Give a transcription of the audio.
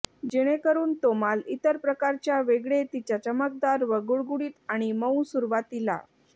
जेणेकरून तो माल इतर प्रकारच्या वेगळे तिच्या चमकदार व गुळगुळीत आणि मऊ सुरवातीला